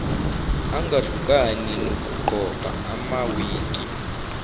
angahlukani nokugqoka amawigi